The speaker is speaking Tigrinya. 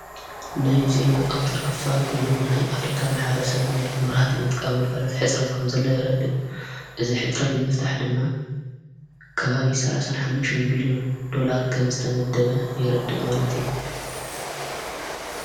ናይ ዜና ኣውትር ክፋል ኴይንዉን ናይ ኣፍሪካ መሓረ ሰብ ናይ ነራህትይ ምጥቃምጕልጓልት ሕጽረት ኳም ዘለ የረድቕ እዝ ሕጽረት ምፍታሕ ድማ ከባብ ሠሓሙም ብልዮን ላር ከም ዝተመደበ የረድእ ማለት አዩ ::